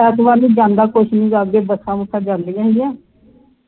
ਐਤਵਾਰ ਨੂੰ ਜਾਣਦਾ ਵੀ ਕੁਛ ਨਹੀਂ ਹੈ ਅੱਗੇ ਬੱਸਾਂ ਬੱਸਾਂ ਜਾਂਦਿਆਂ ਹੀ ਹੈ